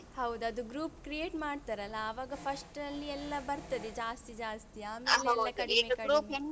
ಹೌದು ಅದು group create ಮಾಡ್ತಾರಲ್ಲ ಆವಾಗ first ಅಲ್ಲಿ ಎಲ್ಲ ಬರ್ತದೆ ಜಾಸ್ತಿ ಜಾಸ್ತಿ ಆಮೇಲೆ ಕಡಿಮೆ.